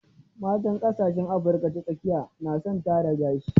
Matan ƙasashen Afrika ta tsakiya na son tara gashi.